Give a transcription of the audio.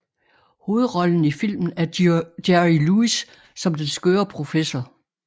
Hovedrollen i filmen er Jerry Lewis som den skøre professor